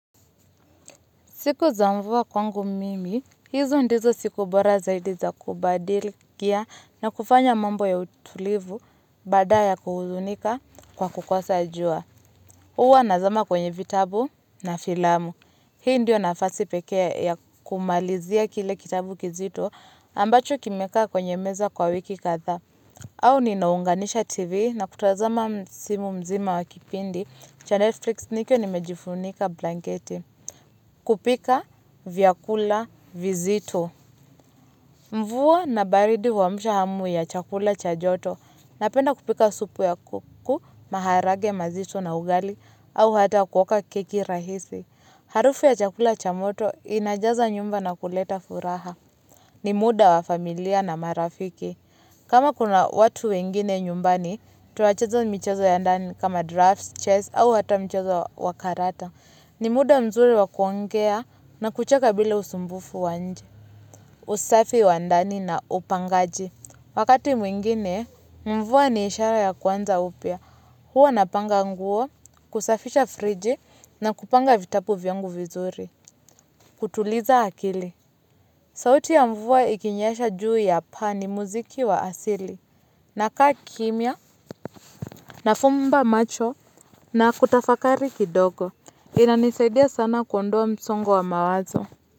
Siku za mvua kwangu mimi, hizo ndizo siku bora zaidi za kubadil kia na kufanya mambo ya utulivu badaya kuhuzunika kwa kukosa ajua. Uwa nazama kwenye vitabu na filamu. Hii ndio nafasi pekee ya kumalizia kile kitabu kizito ambacho kimeka kwenye meza kwa wiki katha. Au ninaunganisha tv na kutazama msimu mzima wakipindi cha Netflix nikiwa nimejifunika blanketi. Kupika vyakula vizitu. Mvuwa na baridi wamusha hamu ya chakula chajoto. Napenda kupika supu ya kuku maharage mazitu na ugali. Au hata kuoka keki rahisi. Harufu ya chakula chamoto inajaza nyumba na kuleta furaha. Ni muda wa familia na marafiki. Kama kuna watu wengine nyumbani tuacheza michezo ya ndani kama drafts, chess. Au hata michazo wakarata ni muda mzuri wa kuongea na kucheka bila usumbufu wa nje. Usafi wandani na upangaji. Wakati mwingine, mvua ni ishara ya kwanza upia. Huwa napanga nguo, kusafisha friji na kupanga vitapu viangu vizuri. Kutuliza akili. Sauti ya mvua ikinyesha juu ya paa ni muziki wa asili. Na kaa kimia, nafumba macho na kutafakari kidogo. Inanisaidia sana kuondoa msongo wa mawazo.